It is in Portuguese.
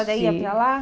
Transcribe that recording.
A senhora ia para lá?